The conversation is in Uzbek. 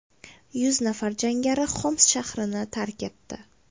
Yuz nafar jangari Xoms shahrini tark etdi.